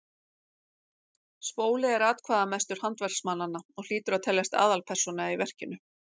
spóli er atkvæðamestur handverksmannanna og hlýtur að teljast aðalpersóna í verkinu